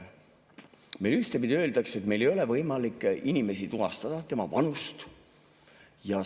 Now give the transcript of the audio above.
Meile ühtepidi öeldakse, et meil ei ole võimalik tuvastada inimest, tema vanust.